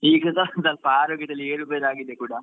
ಈಗ ಸ್ವಲ್ಪ ಸ್ವಲ್ಪ ಆರೋಗ್ಯದಲ್ಲಿ ಏರುಪೇರು ಕೂಡ ಆಗಿದೆ.